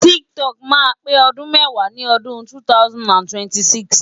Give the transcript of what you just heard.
TikTok máa pé ọdún mẹ́wàá ní odún 2026.